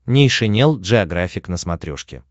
нейшенел джеографик на смотрешке